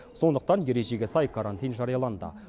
сондықтан ережеге сай карантин жарияланды